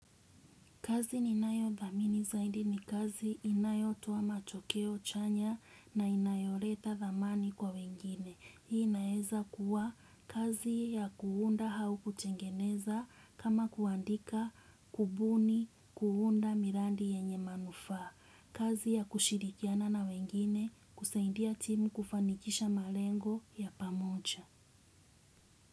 Kazi ninayothamini zaidi ni kazi inayotoa matokeo chanya na inayo leta thamani kwa wengine. Hii naeza kuwa kazi ya kuunda hau kutengeneza kama kuandika kubuni kuunda mirandi yenye manufaa. Kazi ya kushirikiana na wengine kuseindia timu kufanikisha malengo ya pamoja.